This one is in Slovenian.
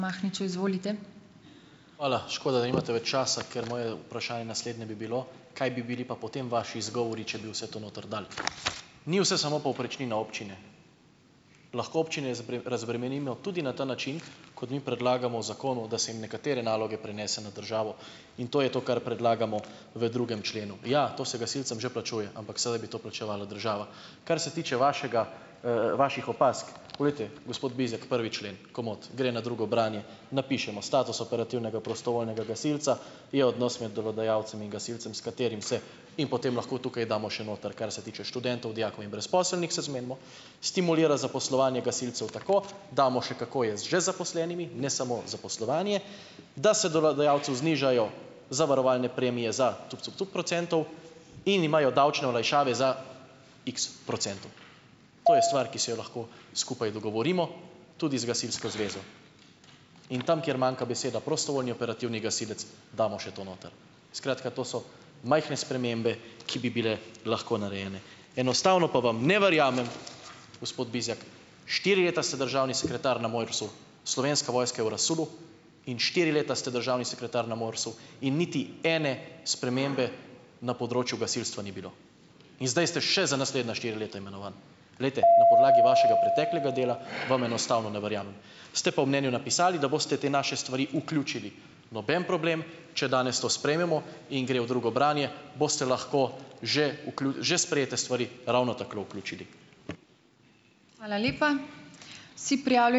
Hvala! Škoda, da nimate več časa, ker moje vprašanje naslednje bi bilo, kaj bi bili pa potem vaši izgovori, če bi vse to noter dal? Ni vse samo povprečnina občine. Lahko občine razbremenimo tudi na ta način, kot mi predlagamo v zakonu, da se jim nekatere naloge prenese na državo, in to je to, kar predlagamo v drugem členu. Ja, to se gasilcem že plačuje, ampak sedaj bi to plačevala država. Kar se tiče vašega, vaših opazk, poglejte, gospod Bizjak prvi člen, komot, gre na drugo branje, napišemo status operativnega prostovoljnega gasilca je odnos med delodajalcem in gasilcem, s katerim se, in potem lahko tukaj damo še noter, kar se tiče študentov, dijakov in brezposelnih, se zmenimo, stimulira zaposlovanje gasilcev tako, damo še, kako je z že zaposlenimi, ne samo zaposlovanje, da se delodajalcu znižajo zavarovalne premije za cup, cup, cup procentov in imajo davčne olajšave za iks procentov. To je stvar, ki si jo lahko skupaj dogovorimo, tudi z gasilsko zvezo. In tam, kjer manjka beseda prostovoljni operativni gasilec, damo še to noter. Skratka, to so majhne spremembe, ki bi bile lahko narejene. Enostavno pa vam ne verjamem, gospod Bizjak, štiri leta ste državni sekretar na MORS-u, Slovenska vojska je v razsulu in štiri leta ste državni sekretar na MORS-u in niti ene spremembe na področju gasilstva ni bilo in zdaj ste še za naslednja štiri leta imenovan. Glejte, na podlagi vašega preteklega dela vam enostavno ne verjamem, ste pa v mnenju napisali, da boste te naše stvari vključili. Noben problem, če danes to sprejmemo in gre v drugo branje, boste lahko že že sprejete stvari ravno tako vključili.